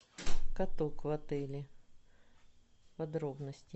каток в отеле подробности